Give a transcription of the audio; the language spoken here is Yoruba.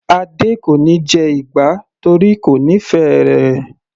Adé kò níí jẹ ìgbá torí kò nífẹ̀ẹ́ rẹ̀.